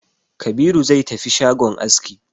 Kabiru zai tafi shagon aski